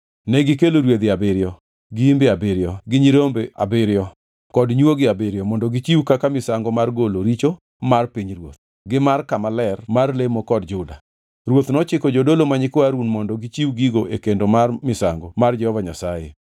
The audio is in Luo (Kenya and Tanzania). Negikelo rwedhi abiriyo, gi imbe abiriyo gi nyirombe abiriyo kod nywogi abiriyo mondo gichiw kaka misango mar golo richo mar pinyruoth, gi mar kama ler mar lemo kod Juda. Ruoth nochiko jodolo ma nyikwa Harun mondo gichiw gigo e kendo mar misango mar Jehova Nyasaye.